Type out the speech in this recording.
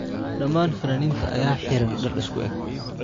Dhammaan fanaaniinta ayaa xidhan dhar isku eeg .